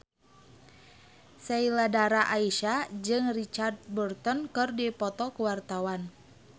Sheila Dara Aisha jeung Richard Burton keur dipoto ku wartawan